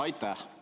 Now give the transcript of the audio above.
Aitäh!